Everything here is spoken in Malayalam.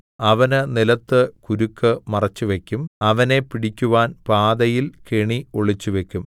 അവന് നിലത്ത് കുരുക്ക് മറച്ചുവയ്ക്കും അവനെ പിടിക്കുവാൻ പാതയിൽ കെണി ഒളിച്ചുവയ്ക്കും